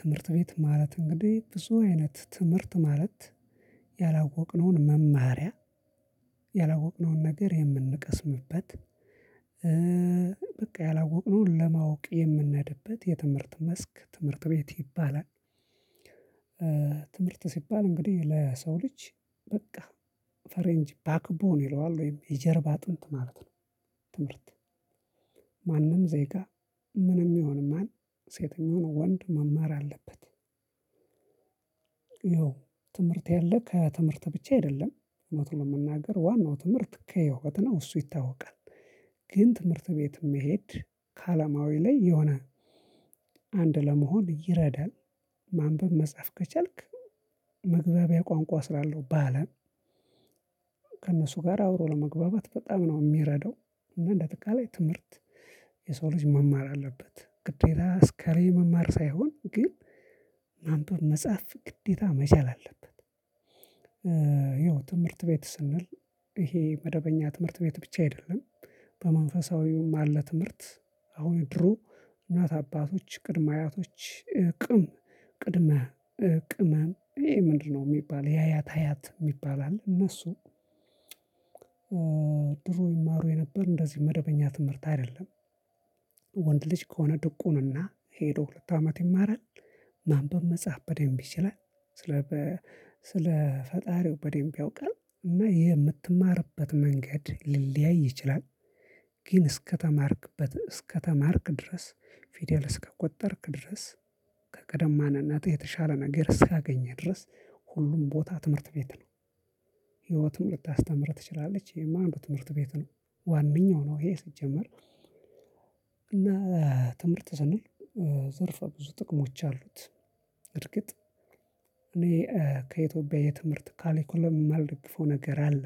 ትምህርት ቤት ማለት እንግዲህ ብዙ አይነት ትምህርት ማለት ያላወቅነውን መማሪያ፣ ያላወቅነውን ነገር የምንቀስምበት፣ በቃ ያላወቅነውን ለማወቅ የምነድበት የትምህርት መስክ ትምህርት ቤት ይባላል። ትምህርት ሲባል እንግዲህ ለሰው ልጅ በቃ ፈረንጅ ባክቦን ይለዋል ወይም የጀርብ አጥንት ማለት ነው። ትምህርት ማንም ዜጋ ምንም ይሁን ማን ሴት ይሁን ወንድ መማር አለበት። ያው ትምህርት ያለ ከትምህርት ብቻ አይደለም። እውነት ለመናገር ዋናው ትምህርት ከህይወት ነው። እሱ ይታወቃል። ግን ትምህርት ቤት መሄድ ከአለማዊ ላይ የሆነ አንድ ለመሆን ይረዳል። ማንብ፣ መጻፍ ከቻልክ መግባቢያ ቋንቋ ስላለው በአለም ከእነሱ ጋር አብሮ ለመግባባት በጣም ነው የሚረዳው። እና እንደ አጠቃላይ ትምህርት የሰው ልጅ መማር አለበት። ግዴታ እከ ላይ መማር ሳይሆን ግን ማንበብ፣ መጻፍ ግዴታ መቻል አለበት። ያው ትምህርት ቤት ስንል ይሄ መደበኛ ትምህርት ቤት ብቻ አይደለም። በመንፈሳዊውም አለ። ትምህርት አሁን ድሮ እናት አባቶች ቅድመ አያቶች ቅም ቅድመ ቅመን ይሄ ምንድነው የሚባል የአያት አያት የሚባል አለ እነሱ ድሮ ይማሩ የነበር እንደዚህ መደበኛ ትምህርት አይደለም። ወንድ ልጅ ከሆነ ድቁንና ሄዶ ሁለት አመት ይማራል። ማንበብ መጽሐፍ በደንብ ይችላል። ስለ ስለ ፈጣሪው በደንብ ያውቃል። እና ይሄ የምትማርበት መንገድ ሊለያይ ይችላል። ግን እስከተማርክበት እስከተማርክ ድረስ ፊደል እስከቆጠርክ ድረስ ከቀደማን እናትህ የተሻለ ነገር እስካገኘህ ድረስ ሁሉም ቦታ ትምህርት ቤት ነው። ህይወትም ልታስተምርህ ትችላለች። ይሄም አንዱ ትምህርት ቤት ነው። ዋነኛው ነው ይሄ ሲጀመር። እና ትምህርት ስንል ዘርፈ ብዙ ጥቅሞች አሉት። በእርግጥ እኔ ከኢትዮጵያ የትምህርት ካሌኮለም የማልደግፈው ነገር አለ።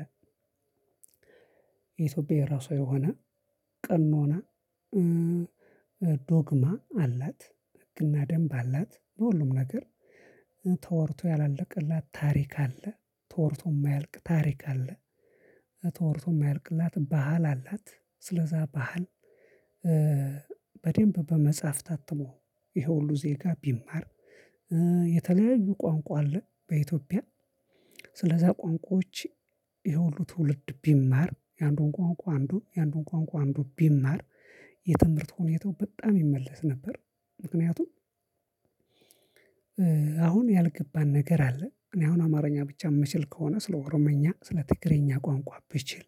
የኢትዮጵያ የራሷ የሆነ ቀኖና፣ ዶግማ አላት። ህግና ደንብ አላት። በሁሉም ነገር ተወርቶ ያላለቀላት ታሪክ አለ። ተወርቶ የማያልቅ ታሪክ አለ። ተወርቶ የማያልቅላት ባህል አላት። ስለዛ ባህል በደንብ በመጽሐፍ ታትሞ ይሄ ሁሉ ዜጋ ቢማር የተለያዩ ቋንቋ አለ። በኢትዮጵያ ስለዛ ቋንቋዎች ይሄ ሁሉ ትውልድ ቢማር የአንዱን ቋንቋ አንዱ የአንዱን ቋንቋ አንዱ ቢማር የትምህርት ሁኔታው በጣም ይመለስ ነበር። ምክንያቱም አሁን ያልገባን ነገር አለ። እኔ አሁን አማርኛ ብቻ የምችል ከሆነ ስለ ኦሮምኛ፣ ስለ ትግሬኛ ቋንቋ ብችል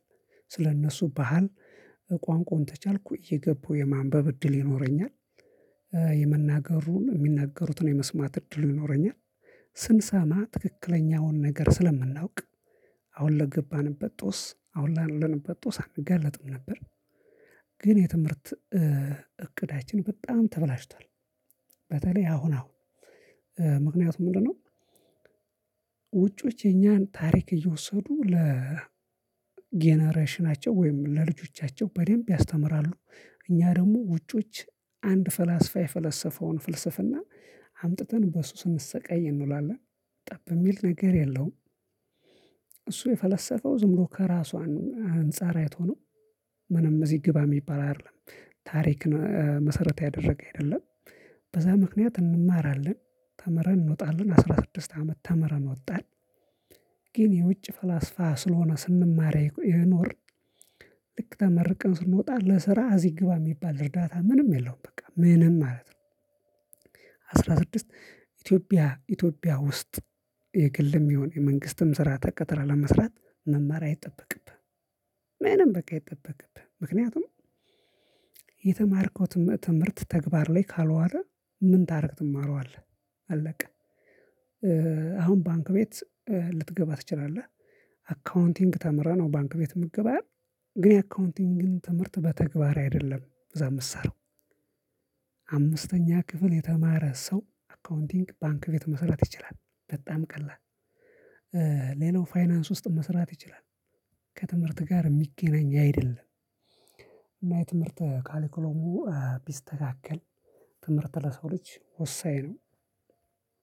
ስለ እነሱ ባህል ቋንቋውን ተቻልኩ የገቡ የማንበብ እድል ይኖረኛል። የመናገሩን የሚናገሩትን የመስማት እድሉ ይኖረኛል። ስንሰማ ትክክለኛውን ነገር ስለምናውቅ አሁን ለገባንበት ጦስ አሁን ላለንበት ጦስ አንጋለጥም ነበር። ግን የትምህርት እቅዳችን በጣም ተበላሽቷል። በተለይ አሁን አሁን ምክንያቱም ምንድነው ውጪዎች የኛን ታሪክ እየወሰዱ ለጀነሬሽናቸው ወይም ለልጆቻቸው በደንብ ያስተምራሉ። እኛ ደግሞ ውጮች አንድ ፈላስፋ የፈላሰፈውን ፍልስፍና አምጥተን በሱ ስንሰቃይ እንውላለን። ጠብ የሚል ነገር የለውም። እሱ የፈለሰፈው ዝም ብሎ ከራሱ አንፃር አይቶ ነው። ምንም እዚህ ግባ የሚባል አይደለም። ታሪክ መሰረት ያደረገ አይደለም። በዛ ምክንያት እንማራለን። ተምረን እንወጣለን። አስራ ስድስት አመት ተምረን ወጣን ግን የውጭ ፈላስፋ ስለሆነ ስንማር የኖርን ልክ ተመርቀን ስንወጣ ለስራ እዚህ ግባ የሚባል እርዳታ ምንም የለውም። ምንም በቃ ምንም ማለት ነው። አስራ ስድስት ኢትዮጵያ ኢትዮጵያ ውስጥ የግልም ይሁን የመንግስትም ስራ ተቀጥረህ ለመስራት መማር አይጠበቅብህም። ምንም በቃ አይጠበቅብህም። ምክንያቱም የተማርከው ትምህርት ተግባር ላይ ካልዋለ ምን ታረግ ትማረዋለህ? አለቀ። አሁን ባንክ ቤት ልትገባ ትችላለህ። አካውንቲንግ ተምረህ ነው ባንክ ቤት የምትገባው። ግን የአካውንቲንግን ትምህርት በተግባር አይደለም እዛ የምትሰራው። አምስተኛ ክፍል የተማረ ሰው አካውንቲንግ ባንክ ቤት መሰራት ይችላል። በጣም ቀላል ሌላው ፋይናንስ ውስጥ መስራት ይችላል። ከትምህርት ጋር የሚገናኝ አይደለም። እና የትምህርት ካሊክሎሙ ቢስተካከል ትምህርት ለሰው ልጅ ወሳኝ ነው።